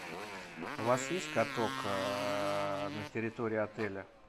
у вас есть каток на территории отеля